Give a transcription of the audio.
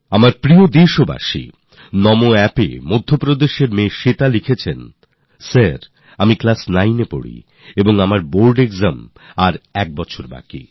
আমার প্রিয় দেশবাসীরা নামো App নিয়ে মধ্যপ্রদেশের মেয়ে শ্বেতা লিখছেন আর তিনি লিখেছেন স্যার আমি নবম শ্রেণিতে পড়ি আমার বোর্ডের পরীক্ষার এখনও এক বছর বাকি